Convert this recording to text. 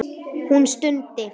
Hún stundi.